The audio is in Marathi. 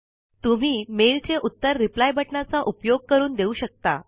तुम्ही मेल चे उत्तर रिप्लाय बटनाचा उपयोग करून देऊ शकता